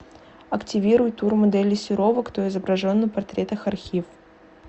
активируй тур модели серова кто изображен на портретах архив